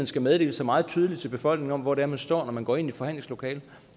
skal meddele sig meget tydeligt til befolkningen om hvor det er man står når man går ind i forhandlingslokalet